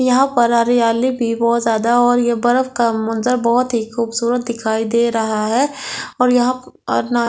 यहां पर हरियाली भी बहुत ज्यादा है और ये बर्फ का मंजर बहुत ही खूबसूरत दिखाई दे रहा है और यहां और न।